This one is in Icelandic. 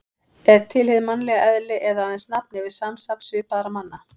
Er til hið mannlega eðli eða aðeins nafn yfir samsafn svipaðra manna?